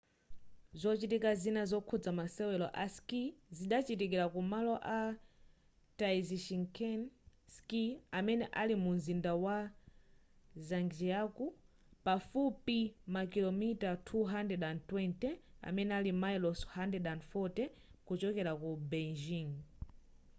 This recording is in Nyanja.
zochitika zina zokhuza masewero a skii zikachitikira ku malo a taizicheng ski amene ali mu mzinda wa zhangjiakou pafupifupi makilomita 220 mamayilosi 140 kuchokera ku beijing